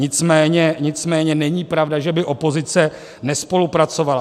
Nicméně není pravda, že by opozice nespolupracovala.